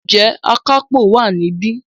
Ǹjẹ́ Akápò wà níbí?